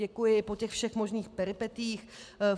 Děkuji po těch všech možných peripetiích.